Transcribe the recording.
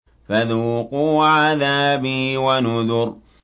فَذُوقُوا عَذَابِي وَنُذُرِ